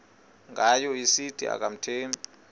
ngayo esithi akamthembi